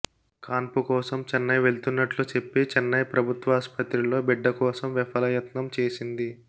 కాన్పు కోసం చెన్నై వెళ్తున్నట్లు చెప్పి చెన్నై ప్రభుత్వాస్పత్రిలో బిడ్డ కోసం విఫలయత్నం చేసింది